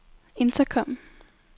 intercom